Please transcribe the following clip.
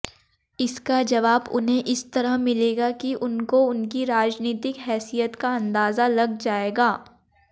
इसका जवाब उन्हें इस तरह मिलेगा कि उनको उनकी राजनीतिक हैसियत का अंदाजा लग जायेगा